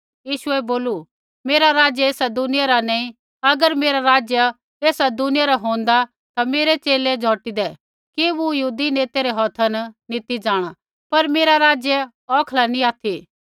यीशुऐ बोलू मेरा राज्य ऐसा दुनिया रा नैंई अगर मेरा राज्य ऐसा दुनिया रा होन्दा ता मेरै च़ेले झौटीदै कि मूँ यहूदी नेतै रै हौथा न नी ती जाँणा पर मेरा राज्य औखला नैंई ऑथि